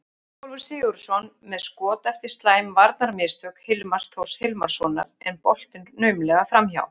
Ingólfur Sigurðsson með skot eftir slæm varnarmistök Hilmars Þórs Hilmarsson en boltinn naumlega framhjá.